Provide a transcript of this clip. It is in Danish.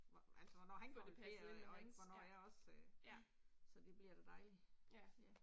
Hvor altså hvornår han går på ferie og ikke hvornår jeg også øh, så det bliver da dejligt, ja